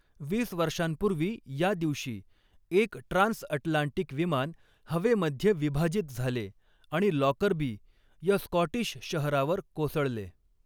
वीस वर्षांपूर्वी या दिवशी, एक ट्रान्सअटलांटिक विमान हवेमध्ये विभाजित झाले आणि लॉकरबी या स्कॉटिश शहरावर कोसळले.